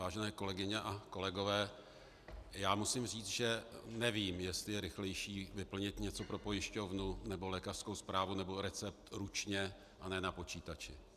Vážené kolegyně a kolegové, já musím říci, že nevím, jestli je rychlejší vyplnit něco pro pojišťovnu nebo lékařskou zprávu nebo recept ručně, a ne na počítači.